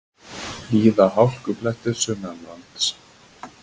Víða hálkublettir sunnanlands